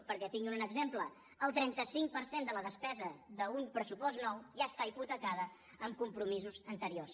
perquè en tinguin un exemple el trenta cinc per cent de la despesa d’un pressupost nou ja està hipotecada en compromisos anteriors